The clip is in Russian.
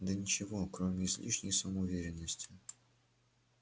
да ничего кроме излишней самоуверенности